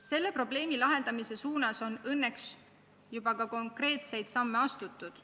Selle probleemi lahendamiseks on õnneks juba ka konkreetseid samme astutud.